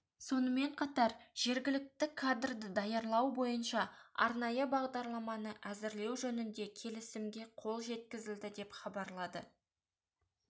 сонымен қатар жергілікті кадрды даярлау бойынша арнайы бағдарламаны әзірлеу жөнінде келесімге қол жеткізілді деп хабарлады